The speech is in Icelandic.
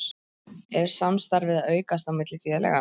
Er samstarfið að aukast á milli félaganna?